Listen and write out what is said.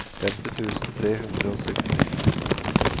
femti tusen tre hundre og sytten